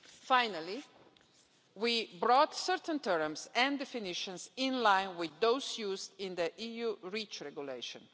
Finally, we brought certain terms and definitions into line with those used in the EU REACH Regulation.